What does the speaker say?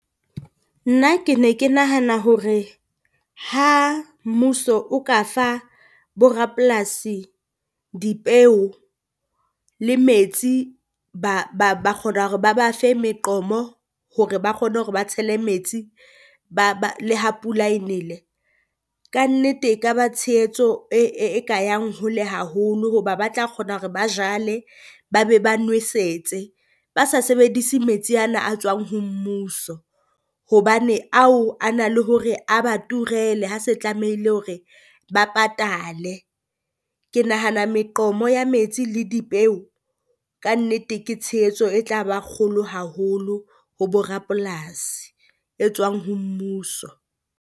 Nna ke ne ke nahana hore ha mmuso o ka fa bo rapolasi dipeu le metsi, ba ba ba kgona hore ba ba fe meqomo hore ba kgone hore ba tshele metsi le ha pula e nele. Kannete e ka ba tshehetso e e e ka yang hole haholo hoba ba tla kgona hore ba jwale ba be ba nwesetse. Ba sa sebedise metsi ana a tswang ho mmuso, hobane ao a na le hore a ba turele ha se tlamehile hore ba patale. Ke nahana meqomo ya metsi le dipeu kannete ke tshehetso e tla ba kgolo haholo ho bo rapolasi e tswang ho mmuso.